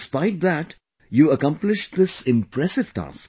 Despite that, you accomplished this impressive task